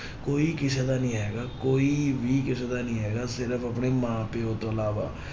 ਕੋਈ ਕਿਸੇ ਦਾ ਨੀ ਹੈਗਾ ਕੋਈ ਵੀ ਕਿਸੇ ਦਾ ਨੀ ਹੈਗਾ, ਸਿਰਫ਼ ਆਪਣੇ ਮਾਂ ਪਿਓ ਤੋਂ ਇਲਾਵਾ।